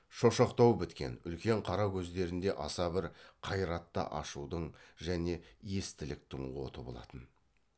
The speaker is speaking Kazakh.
шошақтау біткен үлкен қара көздерінде аса бір қайратты ашудың және естіліктің оты болатын